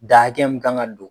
Dan hakɛ min ka kan ka don.